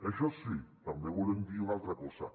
això sí també volem dir una altra cosa